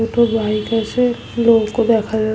দুটো বাইক আছে। নৌকো দেখা যা--